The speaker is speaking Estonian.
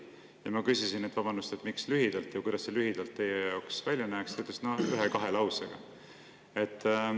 " Kui ma küsisin, et vabandust, miks lühidalt ja kuidas see lühidalt välja näeks, siis ta ütles, et ühe-kahe lausega.